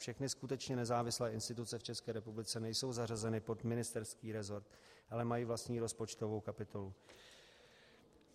Všechny skutečně nezávislé instituce v České republice nejsou zařazeny pod ministerský resort, ale mají vlastní rozpočtovou kapitolu.